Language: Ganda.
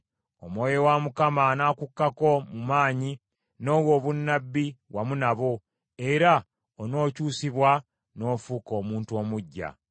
Omwoyo wa Mukama anakukkako mu maanyi, n’owa obunnabbi wamu nabo, era onookyusibwa n’ofuuka omuntu omuggya.